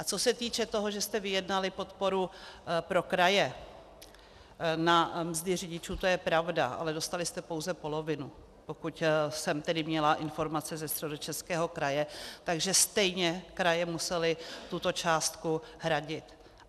A co se týče toho, že jste vyjednali podporu pro kraje na mzdy řidičů, to je pravda, ale dostali jste pouze polovinu, pokud jsem tedy měla informace ze Středočeského kraje, takže stejně kraje musely tuto částku hradit.